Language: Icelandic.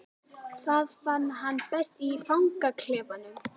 Það fann hann best í fangaklefanum.